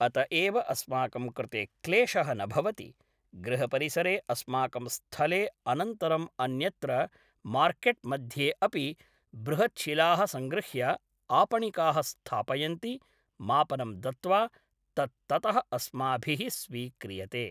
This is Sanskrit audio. अत एव अस्माकं कृते क्लेशः न भवति गृहपरिसरे अस्माकं स्थले अनन्तरं अन्यत्र मार्केट् मध्ये अपि बृहत् शिलाः संगृह्य आपणिकाः स्थापयन्ति मापनं दत्वा तत् ततः अस्माभिः स्वीक्रियते